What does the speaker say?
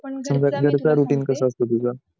पण घरी असतो तुझा